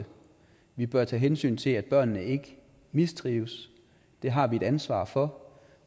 vi bør tage hensyn til at børn ikke mistrives det har vi et ansvar for